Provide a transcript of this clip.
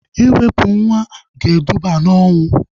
Iwepu nwa ga eduba na ọnwụ